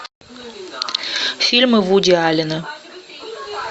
фильмы вуди аллена